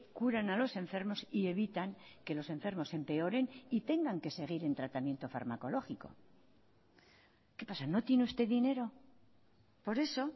curan a los enfermos y evitan que los enfermos empeoren y tengan que seguir en tratamiento farmacológico qué pasa no tiene usted dinero por eso